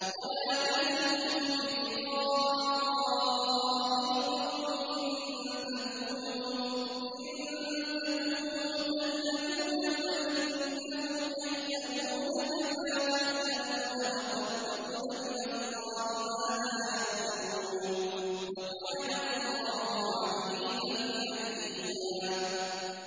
وَلَا تَهِنُوا فِي ابْتِغَاءِ الْقَوْمِ ۖ إِن تَكُونُوا تَأْلَمُونَ فَإِنَّهُمْ يَأْلَمُونَ كَمَا تَأْلَمُونَ ۖ وَتَرْجُونَ مِنَ اللَّهِ مَا لَا يَرْجُونَ ۗ وَكَانَ اللَّهُ عَلِيمًا حَكِيمًا